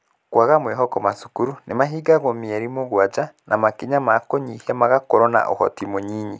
Kwaga mwĩhoko- macukuru nĩ mahingagwo mĩeri mũgwanja, na makinya ma kũnyihia magakorwo na ũhoti mũnyinyi.